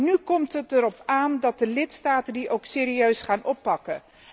Nu komt het erop aan dat de lidstaten die ook serieus gaan oppakken.